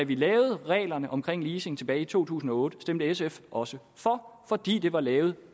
vi lavede reglerne omkring leasing tilbage i to tusind og otte stemte sf også for fordi de var lavet